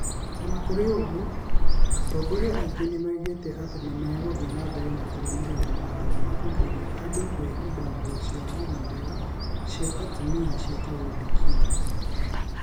O na kũrĩ ũguo, atongori angĩ nĩ moigire atĩ nĩ megũthiĩ na mbere kũrũmĩrĩra watho wa kũgiria andũ kũhumba nguo cia gũthambĩra cia atumia ciĩtagwo burkini.